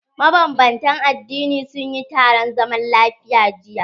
Maban bantan addini sunyi taron zaman lafiya jiya.